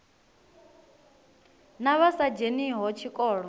na vha sa dzheniho tshikolo